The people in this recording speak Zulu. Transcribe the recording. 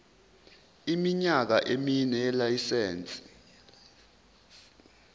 iminyaka emine yelayisense